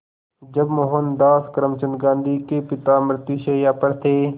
जब मोहनदास करमचंद गांधी के पिता मृत्युशैया पर थे